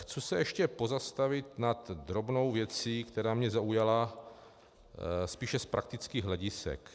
Chci se ještě pozastavit nad drobnou věcí, která mě zaujala spíše z praktických hledisek.